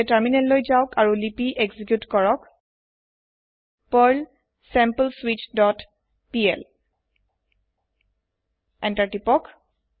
এতিয়া তাৰমিনেল লৈ যাওক আৰু লিপি এক্সিকিউত কৰক পাৰ্ল sampleswitchপিএল এন্টাৰ তিপক